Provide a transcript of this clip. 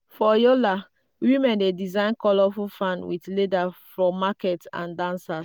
for yola women dey design colourful fan with leather for market and dancers.